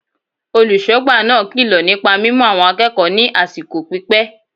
Olùsógbà náà kilo nípa mímu àwọn akéèkòó ní àsìkò pípé